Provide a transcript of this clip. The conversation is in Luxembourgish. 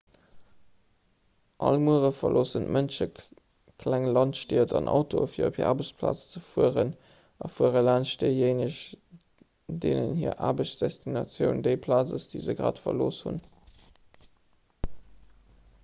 all muere verloossen d'mënsche kleng landstied an autoen fir op hir aarbechtsplaz ze fueren a fuere laanscht déijéineg deenen hir aarbechtsdestinatioun déi plaz ass déi se grad verlooss hunn